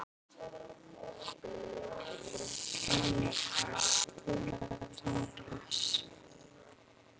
Enika, spilaðu tónlist.